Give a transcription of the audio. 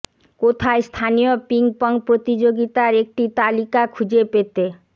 কোথায় স্থানীয় ping pong প্রতিযোগিতার একটি তালিকা খুঁজে পেতে